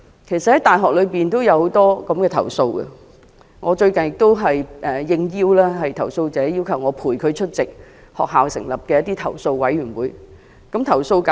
其實大學裏也有很多類似的投訴，我最近也應投訴者邀請，陪伴他出席由大學成立的投訴委員會的會議。